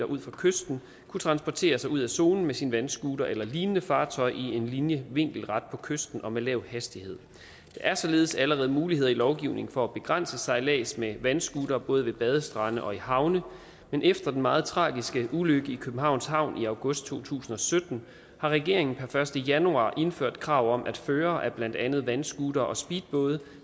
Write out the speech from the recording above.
ud for kysten kunne transportere sig ud af zonen med sin vandscooter eller lignende fartøj i en linje vinkelret på kysten og med lav hastighed er således allerede muligheder i lovgivningen for at begrænse sejlads med vandscooter både ved badestrande og i havne men efter den meget tragisk ulykke i københavns havn i august to tusind og sytten har regeringen per første januar indført krav om at førere af blandt andet vandscootere og speedbåde